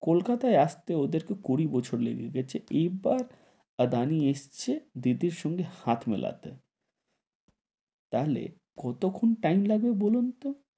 কলকাতায় আস্তে ওদের কে কুড়ি বছর লেগে গেছে, এবার আদানি এসছে দিদির সঙ্গে হাত মেলাতে, তাহলে কতক্ষন time লাগবে বলুন তো?